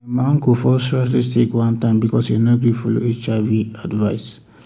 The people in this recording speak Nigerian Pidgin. ehn my uncle fall seriously sick one time because e no gree follow hiv advice.